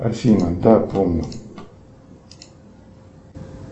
афина да помню